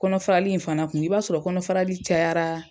Kɔnɔfaali in fana kun i b'a sɔrɔ kɔnɔfarali cayara